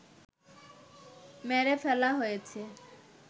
মেরে ফেলা হয়েছে